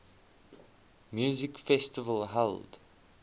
music festival held